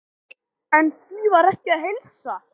En því var ekki að heilsa.